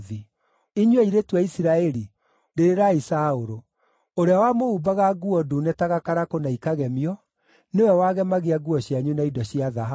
“Inyuĩ airĩtu a Isiraeli, rĩrĩrai Saũlũ, ũrĩa wamũhumbaga nguo ndune ta gakarakũ na ikagemio, nĩwe wagemagia nguo cianyu na indo cia thahabu.